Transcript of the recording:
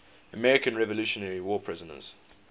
american revolutionary war prisoners